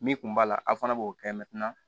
Min kun b'a la aw fana b'o kɛ